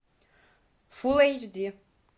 фул эйч ди